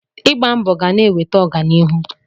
Ịgba mbọ ga na-eweta ọganihu.